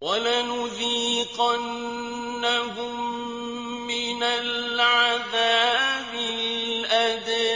وَلَنُذِيقَنَّهُم مِّنَ الْعَذَابِ الْأَدْنَىٰ